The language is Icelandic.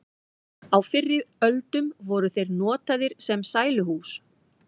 á fyrri öldum voru þeir notaðir sem sæluhús